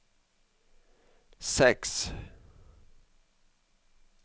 seks